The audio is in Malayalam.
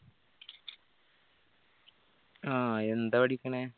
ആഹ് എന്താ പഠിക്കണേ